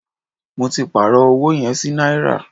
Mó tí pàárọ̀ ọwọ yẹn sí náírà.